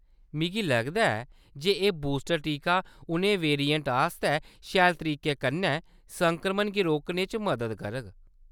मिगी लगदा ऐ जे एह्‌‌ बूस्टर टीका उ'नें वेरिएंट्स आस्तै शैल तरीके कन्नै संक्रमन गी रोकने च मदद करग।